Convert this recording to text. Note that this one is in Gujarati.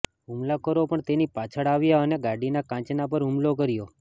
હુમલાખોરો પણ તેની પાછળ આવ્યા અને ગાડીના કાંચના પર હુમલો કર્યો